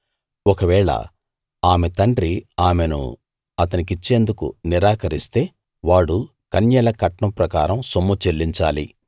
ఒకవేళ ఆమె తండ్రి ఆమెను అతనికిచ్చేందుకు నిరాకరిస్తే వాడు కన్యల కట్నం ప్రకారం సొమ్ము చెల్లించాలి